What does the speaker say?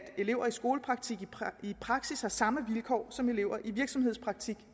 elever i skolepraktik i praksis har samme vilkår som elever i virksomhedspraktik